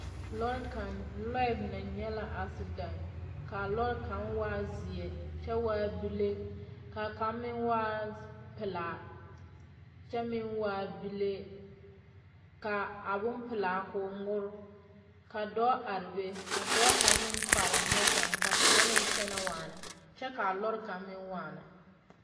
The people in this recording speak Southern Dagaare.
Lͻԑ kaŋ lͻԑ mine nyԑ la asidԑnte. Ka a lͻͻre kaŋ waa zeԑ kyԑ waa bile ka kaŋ meŋ waa pelaa kyԑ meŋ waa bile. Ka a bompelaa koo ŋmore. Ka dͻͻ are be, ka dͻͻ kaŋa meŋ kpare neԑkaŋ ka kaŋ meŋ kyԑnԑ waana kyԑ ka a lͻre kaŋa meŋ waana.